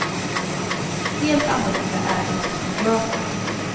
Helt annorlunda är det hos fotografen.